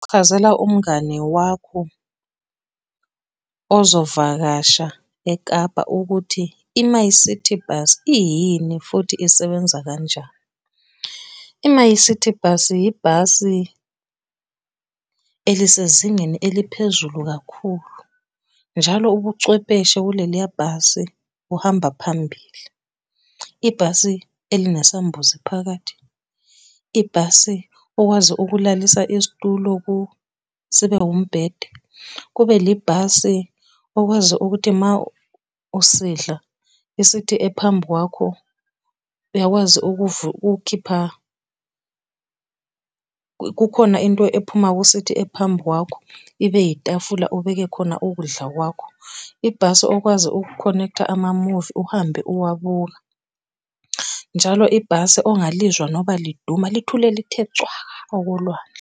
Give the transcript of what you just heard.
Chazela umngane wakho ozovakasha eKapa ukuthi i-MyCiti Bus iyini futhi isebenza kanjani. I-MyCiti bus, ibhasi elisezingeni eliphezulu kakhulu. Njalo ubuchwepheshe kuleliya bhasi buhamba phambili. Ibhasi , ibhasi okwazi ukulalisa isitulo kulo, sibe umbhede, kube libhasi okwazi ukuthi ma usidla isithi ephambi kwakho uyakwazi ukukhipha kukhona into ephuma kusithi ephambi kwakho ibe yitafula ubeke khona ukudla kwakho. Ibhasi okwazi ukukhonektha amamuvi uhambe uwabuka. Njalo ibhasi ongalizwa noba liduma lithule lithe cwaka okolwandle.